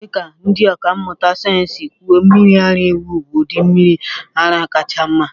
Dị ka ndị ọkà mmụta sayensị si kwuo, mmiri ara ewu bụ ụdị mmiri ara kacha mma.